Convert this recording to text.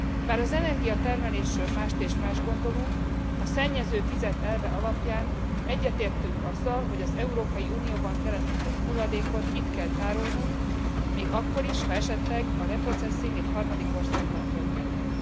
Bár az energiatermelésről mást és mást gondolunk, a szennyező fizet elve alapján egyetértünk azzal, hogy az Európai Unióban keletkezett hulladékot itt kell tárolnunk még akkor is, ha esetleg a reprocesszing egy harmadik országban történhet.